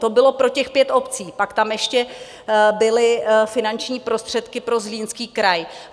To bylo pro těch pět obcí, pak tam ještě byly finanční prostředky pro Zlínský kraj.